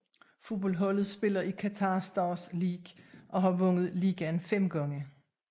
Fodboldholdet spiller i Qatar Stars League og har vundet ligaen fem gange